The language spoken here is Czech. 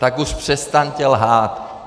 Tak už přestaňte lhát.